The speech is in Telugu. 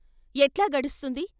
ఎట్లా గడుస్తుంది.